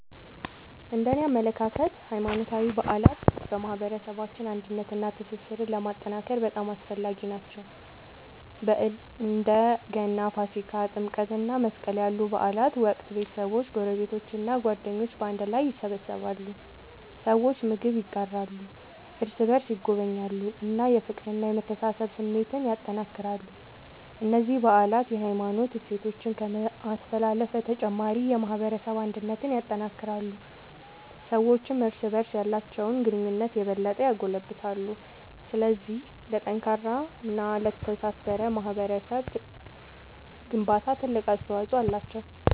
እነደኔ አመለካከት ሃይማኖታዊ በዓላት በማህበረሰባችን አንድነትንና ትስስርን ለማጠናከር በጣም አስፈላጊ ናቸው። በእንደ ገና፣ ፋሲካ፣ ጥምቀት እና መስቀል ያሉ በዓላት ወቅት ቤተሰቦች፣ ጎረቤቶች እና ጓደኞች በአንድ ላይ ይሰበሰባሉ። ሰዎች ምግብ ይጋራሉ፣ እርስ በርስ ይጎበኛሉ እና የፍቅርና የመተሳሰብ ስሜትን ያጠናክራሉ። እነዚህ በዓላት የሃይማኖት እሴቶችን ከማስተላለፍ በተጨማሪ የማህበረሰብ አንድነትን ያጠናክራሉ። ሰዎችም እርስ በርስ ያላቸውን ግንኙነት የበለጠ ያጎለብታሉ። ስለዚህ ለጠንካራና ለተሳሰረ ማህበረሰብ ግንባታ ትልቅ አስተዋጽኦ አላቸው።